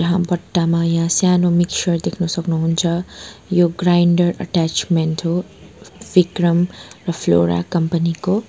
यहाँ बट्टामा यहाँ सानो मिक्सचर देख्न सक्नुहुन्छ यो ग्राइन्डर अट्याचमेन्ट हो विक्रम र फ्लोरा कम्पनी को।